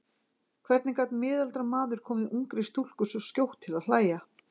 Hvernig gat miðaldra maður komið ungri stúlku svo skjótt til að hlæja?